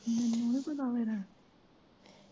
ਮਿਨੂੰ ਨੀ ਪਤਾ ਫਿਰ।